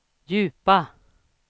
djupa